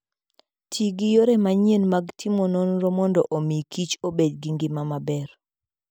Ti gi yore manyien mag timo nonro mondo omi kich obed gi ngima maber.